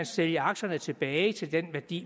sælge aktierne tilbage til den værdi